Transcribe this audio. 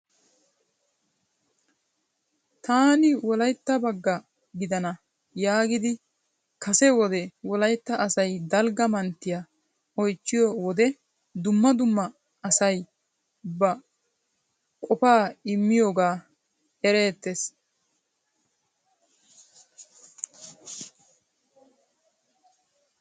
Yaani wolaytta bagga gidana yaagidi kase wode Wolaytta asay dalgga manttiya oychchiyo wode dumma dumma asay ba qopa immiyooga erettees.